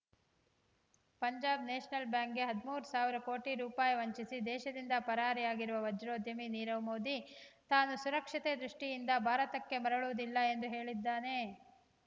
Punjab national ಬ್ಯಾಂಕ್‌ಗೆ ಹದಿಮೂರು ಸಾವಿರ ಕೋಟಿ ರೂಪಾಯಿ ವಂಚಿಸಿ ದೇಶದಿಂದ ಪರಾರಿಯಾಗಿರುವ ವಜ್ರೋದ್ಯಮಿ ನೀರವ್‌ ಮೋದಿ ತಾನು ಸುರಕ್ಷತೆ ದೃಷ್ಟಿಯಿಂದ ಭಾರತಕ್ಕೆ ಮರಳುವುದಿಲ್ಲ ಎಂದು ಹೇಳಿದ್ದಾನೆ